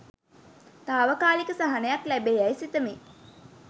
තාවකාලික සහනයක් ලැබේ යැයි සිතමි.